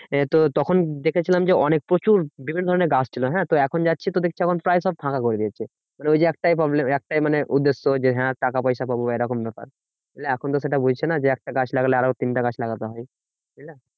এ তো তখন দেখেছিলাম যে, অনেক প্রচুর বিভিন্ন ধরণের গাছ ছিল। হ্যাঁ তো এখন যাচ্ছি তো দেখছি এখন প্রায় সব ফাঁকা করে দিয়েছে। মানে ওই যে একটাই problem একটাই মানে উদ্দেশ্য যে হ্যাঁ টাকা পয়সা পাবো এরকম ব্যাপার। এখন তো সেটা বুঝঝে না যে একটা গাছ লাগালে আরো তিনটা গাছ লাগাতে হয়। বুঝলা